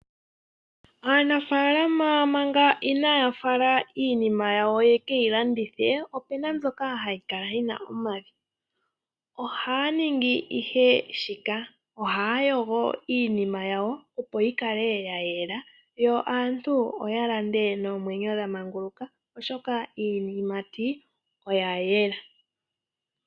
Aanafaalama manga inaayafala iinima yawo yekeyi landithee opena mbyoka hayikala yina omavi ohaaningi ihe shika. Ohaayogo iinima yawo opoyikale yayela, yo aantu oyalande noomwenyo dhamanguluka oshoka iiyimati oyayela.